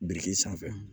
Biriki sanfɛ